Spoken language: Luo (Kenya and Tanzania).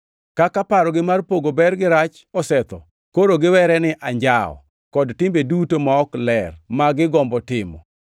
Kaka parogi mar pogo ber gi rach osetho, koro giwere ni anjawo kod timbe duto ma ok ler ma gigombo timo.